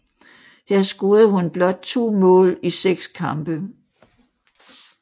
Her scorede hun blot to mål i seks kampe